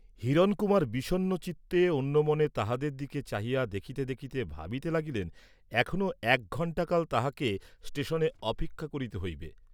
হিরণকুমার বিষণ্ণচিত্তে অন্য মনে তাহাদের দিকে চাহিয়া দেখিতে দেখিতে ভাবিতে লাগিলেন এখনো এক ঘণ্টাকাল তাঁহাকে ষ্টেষণে অপেক্ষা করিতে হইবে।